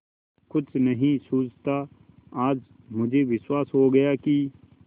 कुछ नहीं सूझता आज मुझे विश्वास हो गया कि